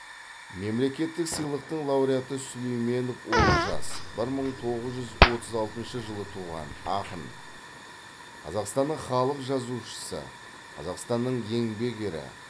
мемлекеттік сыйлықтың лауреаты сүлейменов олжас бір мың тоғыз жүз отыз алтыншы жылы туған ақын қазақстанның халық жазушысы қазақстанның еңбек ері